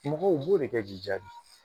mɔgɔw u b'o de kɛ k'i jaabi